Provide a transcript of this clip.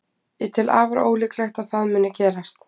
Ég tel afar ólíklegt að það muni gerast.